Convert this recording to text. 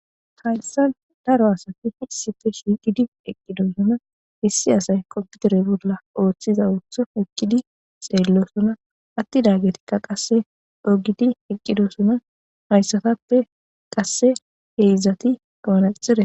Haysan daro asati issipe shiqidi eqidosona issi asay kompitere bolan othiza otho eqidi xelosona atidagetika qase c'oo gidi eqidosona haysatape qase heezati manaxire wotida.